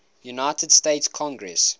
united states congress